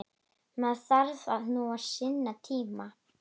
Maður þarf nú sinn tíma.